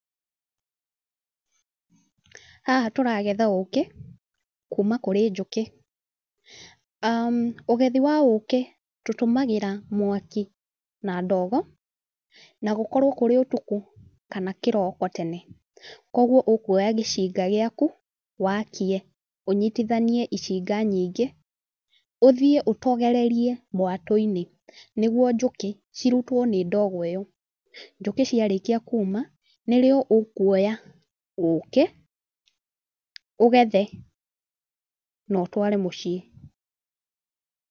Haha tũragetha ũkĩ, kuma kũrĩ njũkĩ, ũgethi wa ũkĩ, tũtũmagĩra mwaki na ndogo, na gũkorwe kũrĩ ũtukũ kana kĩroko tene. Koguo ũkũoya gĩcinga gĩaku wakie ũnyitithanie gĩcinga nyingĩ ũthiĩ ũtogererie mwatũ-inĩ nĩguo njũkĩ cirutwo nĩ ndogo ĩno, njũkĩ ciarĩkia kuuma nĩrĩo ũkũoya ũkĩ, ũgethe na ũtware mũciĩ.